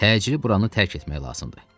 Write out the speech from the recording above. Təcili buranı tərk etmək lazımdır.